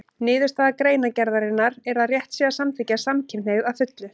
Niðurstaða greinargerðarinnar er að rétt sé að samþykkja samkynhneigð að fullu.